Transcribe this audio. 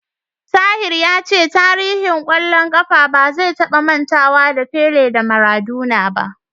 Tahir ya ce tarihin ƙwallon ƙafa ba zai taba mantawa da Pele da Maradona ba.